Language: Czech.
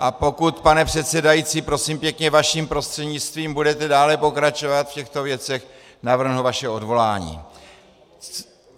A pokud, pane předsedající, prosím pěkně vaším prostřednictvím budete dále pokračovat v těchto věcech, navrhnu vaše odvolání.